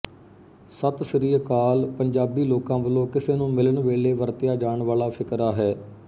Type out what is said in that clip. ਸਤਿ ਸ੍ਰੀ ਅਕਾਲ ਪੰਜਾਬੀ ਲੋਕਾਂ ਵੱਲੋਂ ਕਿਸੇ ਨੂੰ ਮਿਲਣ ਵੇਲ਼ੇ ਵਰਤਿਆ ਜਾਣ ਵਾਲ਼ਾ ਫ਼ਿਕਰਾ ਹੈ